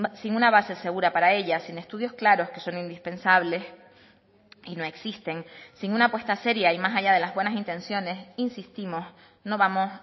sin una base segura para ellas sin estudios claros que son indispensables y no existen sin una apuesta seria y más allá de las buenas intenciones insistimos no vamos